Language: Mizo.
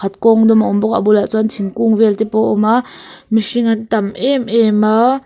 kawng dawm a awm bawk a a bulah chuan thingkung vel te pawh awm a mihring an tam em em a.